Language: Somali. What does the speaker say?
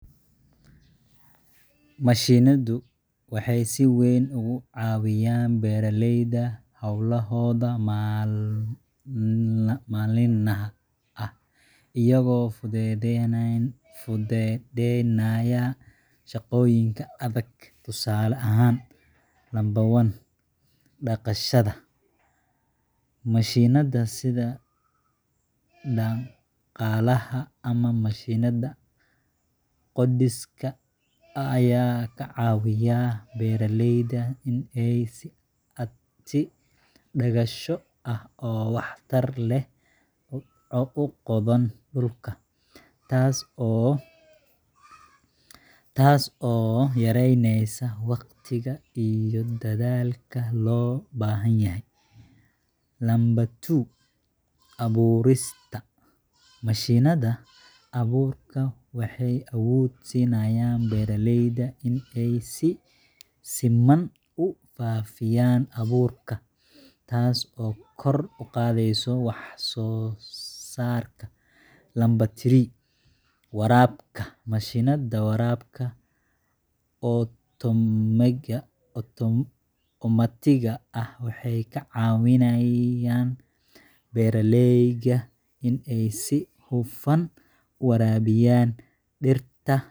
Mashiinadu waxay si weyn uga caawiyaan beeralayda hawlahooda maalinlaha ah, iyagoo fududeynaya shaqooyinka adag. Tusaale ahaan: 1. **Dhaqashada**: Mashiinnada sida dhaqaalaha ama mashiinada qodista ayaa ka caawiya beeralayda in ay si dhakhso ah oo waxtar leh u qodaan dhulka, taas oo yareyneysa waqtiga iyo dadaalka loo baahan yahay. 2. **Abuurista**: Mashiinnada abuurka waxay awood u siinayaan beeralayda in ay si siman u faafiyaan abuurka, taas oo kor u qaadaysa wax soo saarka. 3. **Waraabka**: Mashiinnada waraabka otomaatiga ah waxay ka caawiyaan beeralayda in ay si huf